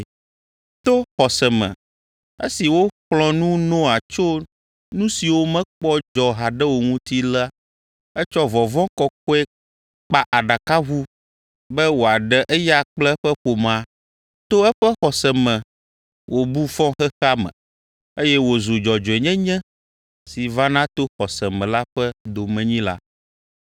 To xɔse me esi woxlɔ̃ nu Noa tso nu siwo mekpɔ dzɔ haɖe o ŋuti la etsɔ vɔvɔ̃ kɔkɔe kpa aɖakaʋu be wòaɖe eya kple eƒe ƒomea. To eƒe xɔse me wòbu fɔ xexea me, eye wòzu dzɔdzɔenyenye si vana to xɔse me la ƒe domenyila.